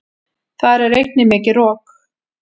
Þar er einnig mikið rok.